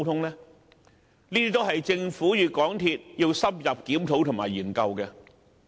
這些都是政府與港鐵公司需要深入檢討和研究的問題。